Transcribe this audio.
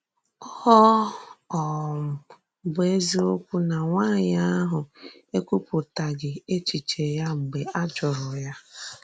Ọ um bụ́ ezìokwu na nwànyì ahụ ekwùpụ̀tàghì èchìchè ya mgbe a jụrụ̀ ya.